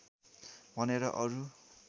भनेर अरू